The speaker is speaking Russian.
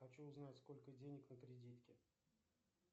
хочу узнать сколько денег на кредитке